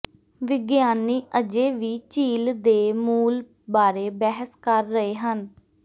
ਵਿਗਿਆਨੀ ਅਜੇ ਵੀ ਝੀਲ ਦੇ ਮੂਲ ਬਾਰੇ ਬਹਿਸ ਕਰ ਰਹੇ ਹਨ